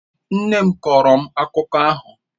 Nne m kọọrọ m akụkọ ahụ.